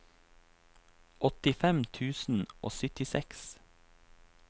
åttifem tusen og syttiseks